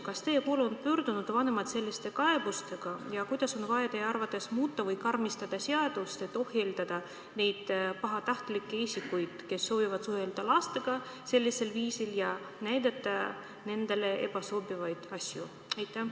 Kas teie poole on pöördunud vanemad selliste kaebustega ja kuidas on vaja teie arvates muuta või karmistada seadust, et ohjeldada neid pahatahtlikke isikuid, kes soovivad suhelda lastega sellisel viisil ja näidata nendele ebasobivaid asju?